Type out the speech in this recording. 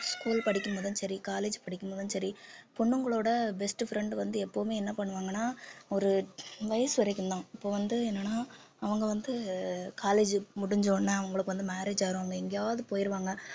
school படிக்கும்போதும் சரி college படிக்கும்போதும் சரி பொண்ணுங்களோட best friend வந்து எப்பவுமே என்ன பண்ணுவாங்கன்னா ஒரு வயசு வரைக்கும்தான் இப்ப வந்து என்னன்னா அவங்க வந்து college முடிஞ்ச உடனே அவங்களுக்கு வந்து marriage ஆயிடும் இல்ல, எங்கேயாவது போயிருவாங்க